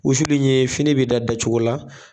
Wusuli in ye fini be da da cogo la